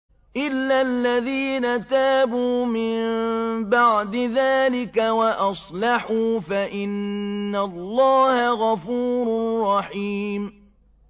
إِلَّا الَّذِينَ تَابُوا مِن بَعْدِ ذَٰلِكَ وَأَصْلَحُوا فَإِنَّ اللَّهَ غَفُورٌ رَّحِيمٌ